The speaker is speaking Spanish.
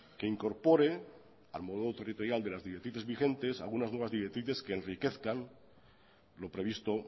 que incorpore al modo territorial de las directrices vigentes algunas nuevas directrices que enriquezcan lo previsto